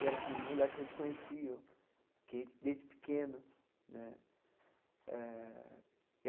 E era assim um moleque que a gente conhecia que desde pequeno né eh.